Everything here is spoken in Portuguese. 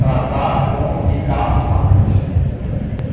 Tratar com Ricardo à noite.